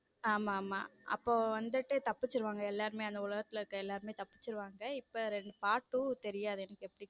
ஆமா ஆமா அப்போவந்துட்டு தப்பிச்சிடுவாங்க எல்லாருமே அந்த உலகத்துல இருக்கிற எல்லாருமே தப்பிச்சிடுவாங்க இப்போ part two தெரியாது எனக்கு எப்படின்னு.